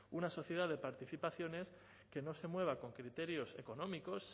una sociedad de participaciones que no se mueva con criterios económicos